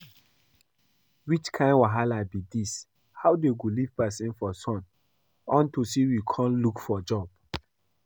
Which kin wahala be dis? How dey go leave person for sun unto say we come look for job